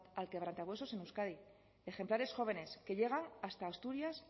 al quebrantahuesos en euskadi ejemplares jóvenes que llegan hasta asturias